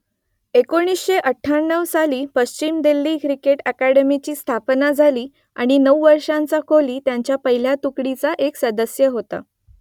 एकोणीसशे अठ्याण्णव साली पश्चिम दिल्ली क्रिकेट अकादमीची स्थापना झाली आणि नऊ वर्षांचा कोहली त्यांच्या पहिल्या तुकडीचा एक सदस्य होता